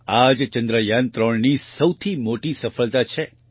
આજ ચંદ્રયાન3ની સૌથી મોટી સફળતા છે